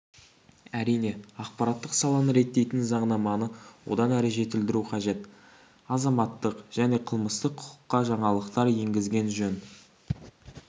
әрине ақпараттық саланы реттейтін заңнаманы одан әрі жетілдіру қажет азаматтық және қылмыстық құқыққа жаңалықтар енгізген жөн